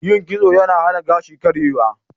Yin kitso yana hana gashi karyewa.